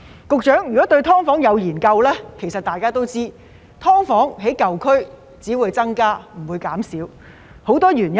局長，如果對"劏房"有研究，其實大家都知道，"劏房"在舊區只會增加而不會減少，其中有很多原因。